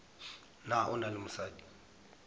na o na le mosadi